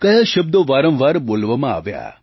કયા શબ્દો વારંવાર બોલવામાં આવ્યા